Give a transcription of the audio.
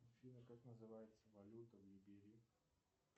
афина как называется валюта в либерии